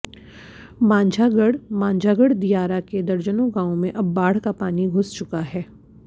मांझागढ़ः मांझागढ़ दियारा के दर्जनों गांवो मे अब बाढ़ का पानी घुस चुका है